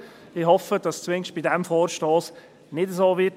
Ich hoffe, dass es zumindest bei diesem Vorstoss nicht so sein wird.